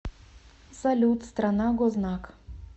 салют страна гознак